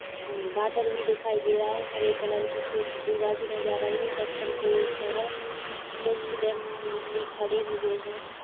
हम्म बादल भी दिखाई दे रहा है हरे कलर की कुछ दूर्वा भी नज़र आई है पत्थर के ऊपर कुछ व्यक्ति खड़े हुए है।